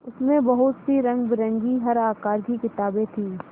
उसमें बहुत सी रंगबिरंगी हर आकार की किताबें थीं